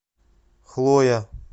хлоя